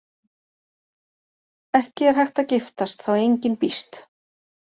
Ekki er hægt að giftast þá engin býst.